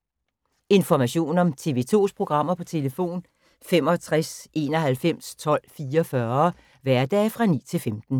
Information om TV 2's programmer: 65 91 12 44, hverdage 9-15.